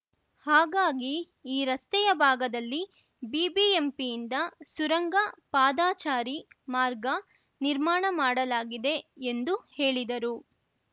ಹಾಗಾಗಿ ಈ ರಸ್ತೆಯ ಭಾಗದಲ್ಲಿ ಬಿಬಿಎಂಪಿಯಿಂದ ಸುರಂಗ ಪಾದಾಚಾರಿ ಮಾರ್ಗ ನಿರ್ಮಾಣ ಮಾಡಲಾಗಿದೆ ಎಂದು ಹೇಳಿದರು